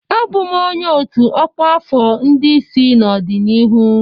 Abụ m onye ọ́tù ọkwa afọ ndị isi n'ọdịnihu.